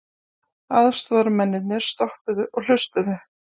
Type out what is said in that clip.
Aðstoðamennirnir stoppuðu og hlustuðu.